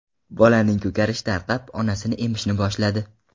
Bolaning ko‘karishi tarqab, onasini emishni boshladi.